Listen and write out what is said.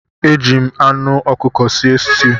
Eji m anh ọkụkọ sie sitew.